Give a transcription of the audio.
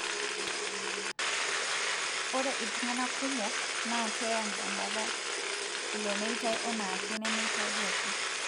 ore iltungana kumok na keyang tembataa ilo meitai enaake nemetadiaki.